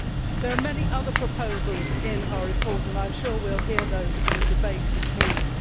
There are many other proposals in our report and I am sure we will hear those in the debate this morning.